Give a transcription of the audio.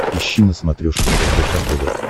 ищи на смотрешке рбк тв